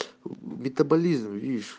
метаболизм видишь